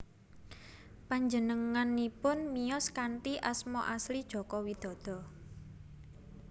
Panjenenganipun miyos kanthi asma asli Joko Widodo